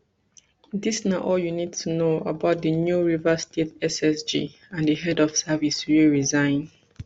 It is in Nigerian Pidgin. dis na all you need to know about di new rivers state ssg and di head of service wey resign